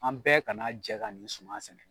An bɛɛ kana jɛ ka nin suman sɛnɛ.